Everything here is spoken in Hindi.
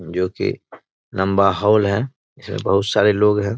जो की लम्बा हॉल है इसमें बहुत सारे लोग हैं।